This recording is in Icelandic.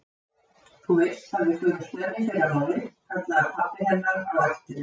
Þú veist að við förum snemma í fyrramálið, kallaði pabbi hennar á eftir henni.